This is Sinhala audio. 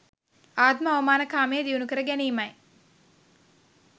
ආත්ම අවමාන කාමය දියුණුකර ගැනීමයි.